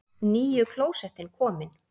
NÝJU KLÓSETTIN KOMIN!